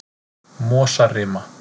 Mosarima